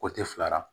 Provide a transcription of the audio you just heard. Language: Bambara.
fila la